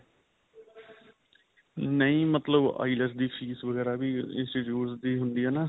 ਨਹੀਂ ਮਤਲੱਬ IELTS ਦੀ ਫੀਸ ਵਗੈਰਾ ਵੀ institute ਦੀ ਹੁੰਦੀ ਹੈ ਨਾ.